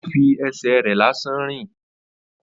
Ó fi ẹsẹ̀ rẹ̀ lásán rìn